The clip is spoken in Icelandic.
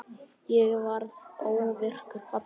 Ég varð óvirkur pabbi.